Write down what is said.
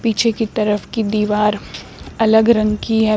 पीछे की तरफ की दीवार अलग रंग की है।